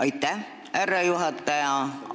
Aitäh, härra juhataja!